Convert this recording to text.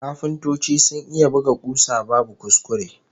Kafintoci sun iya buga kusa babu kuskure!